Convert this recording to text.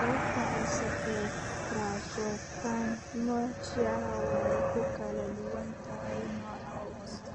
Sababta hoose ee tracheobronchomalacia (TBM) way ku kala duwan tahay nooca hoose.